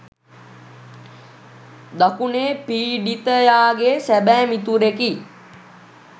දකුණේ පීඩිතයාගේ සැබෑ මිතුරෙකි.